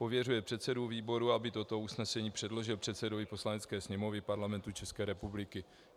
Pověřuje předsedu výboru, aby toto usnesení předložil předsedovi Poslanecké sněmovny Parlamentu České republiky.